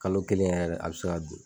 Kalo kelen yɛrɛ a bɛ se ka dun.